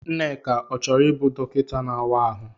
Nneka ọ chọrọ ịbụ dọkịta na-áwá ahụ?